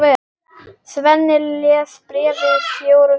Svenni les bréfið fjórum sinnum.